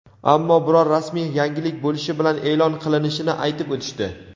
Ammo biror rasmiy yangilik bo‘lishi bilan e’lon qilinishini aytib o‘tishdi.